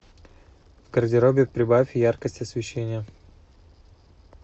в гардеробе прибавь яркость освещения